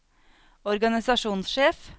organisasjonssjef